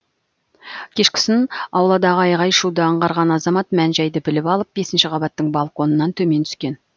кешкісін ауладағы айғай шуды аңғарған азамат мән жайды біліп алып бесінші қабаттың балконынан төмен түскен